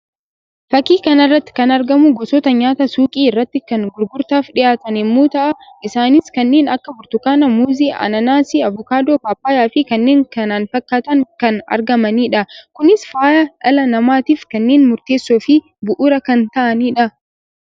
Fakkii kan irratti kana argamu gosoota nyaataa suuqii irratti kan gurgurtaaf dhiyaatan yammuu ta'an isaannis kanneen akka Burtukaanaa, Muuzii, Anaanaasii, Avukaadoo paapayyaa fi kanneen knana fakkaatan kan argamaniidha. Kunis fayyaa dhala namaatiif kanneen murteessoo fi bu'uuraa kan ta'aniidha.